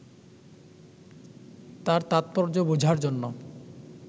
তার তাৎপর্য বোঝার জন্যে